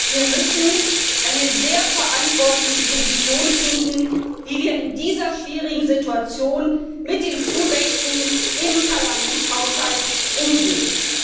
Wir müssen also eine sehr verantwortliche Position finden, wie wir in dieser schwierigen Situation mit den Zuwächsen im Parlamentshaushalt umgehen.